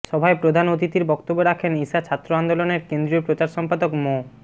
সভায় প্রধান অতিথির বক্তব্য রাখেন ইশা ছাত্র আন্দোলনের কেন্দ্রীয় প্রচার সম্পাদক মো